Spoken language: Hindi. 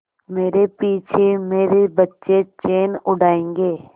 मेरे पीछे मेरे बच्चे चैन उड़ायेंगे